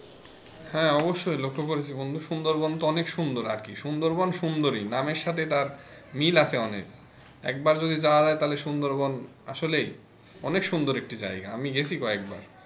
হ্যাঁ অবশ্যই লক্ষ্য করেছি বন্ধু সুন্দর বনতো অনেক সুন্দর আর কি সুন্দরবন সুন্দরী নামের সাথে তার মিল আছে অনেক একবার যদি যাওয়া যায় তালে সুন্দরবন আসলে ই অনেক সুন্দর একটি জায়গা আমি গেছি কয়েকবার।